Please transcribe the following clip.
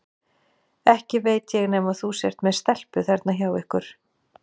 Ekki veit ég nema þú sért með stelpu þarna hjá ykkur.